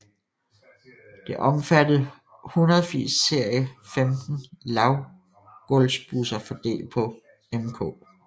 Det omfattede 180 serie 15 lavgulvsbusser fordelt på mk